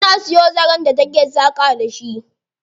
Tana siyo zaren da take saƙa da shi.